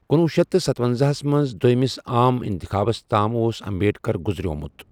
کنُوہ شیتھ تہٕ ستۄنزا ہَس منٛز دویمِس عام انتخابس تام اوس امبیڈکر گُزرومُت۔